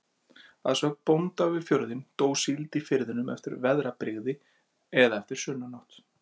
Að sögn bónda við fjörðinn, dó síld í firðinum eftir veðrabrigði eða eftir sunnanátt.